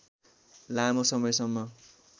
लामो समयसम्म